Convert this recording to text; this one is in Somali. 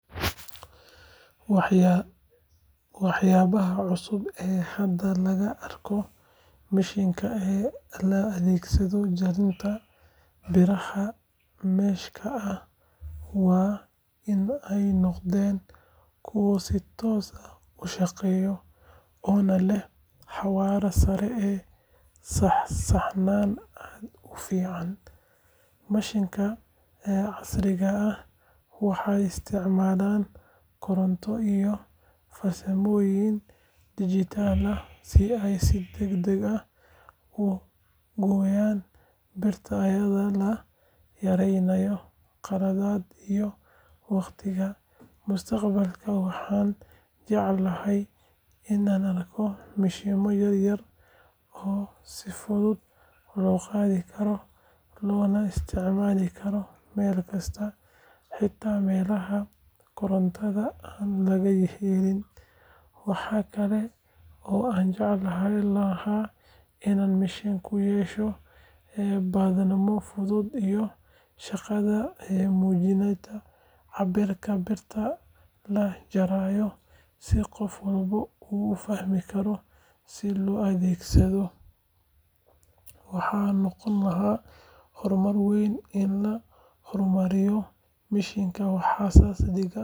Waxyaabaha cusub ee hadda laga arko mashiinnada loo adeegsado jarista biraha mesh-ka ah waa in ay noqdeen kuwo si toos ah u shaqeeya, oo leh xawaare sare iyo saxnaan aad u fiican. Mashiinnadan casriga ah waxay isticmaalaan koronto iyo farsamooyin digital ah si ay si degdeg ah u gooyaan birta iyadoo la yareynayo qaladaadka iyo waqtiga. Mustaqbalka waxaan jeclaan lahaa in aan arko mashiinno yar yar oo si fudud loo qaadi karo loona isticmaali karo meel kasta, xitaa meelaha korontada aan laga helin. Waxa kale oo aan jeclaan lahaa in mashiinku yeesho badhanno fudud iyo shaashad muujinaysa cabbirka birta la jarayo si qof walba u fahmi karo sida loo adeegsado. Sidoo kale haddii ay lahaan lahaayeen awood ay iskood isku nadiifiyaan kadib markay shaqo dhameeyaan, waxay noqon lahayd horumar weyn. In la horumariyo mashiinnadaas waxay ka dhigan tahay.